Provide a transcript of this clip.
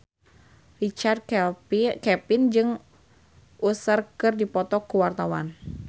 Richard Kevin jeung Usher keur dipoto ku wartawan